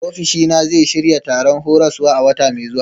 Ofishina zai shirya taron horaswa a wata mai zuwa.